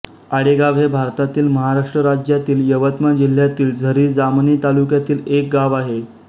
आडेगाव हे भारतातील महाराष्ट्र राज्यातील यवतमाळ जिल्ह्यातील झरी जामणी तालुक्यातील एक गाव आहे